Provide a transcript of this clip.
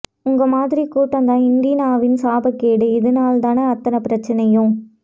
உங்க மாதிரி கூட்டம் தான் இண்டினாவின் சாப கேடு இதுநாள் தன அத்தனை பிரச்சனையும்